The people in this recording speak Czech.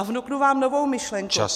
A vnuknu vám novou myšlenku.